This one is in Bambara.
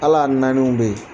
Ala naaniw bɛ yen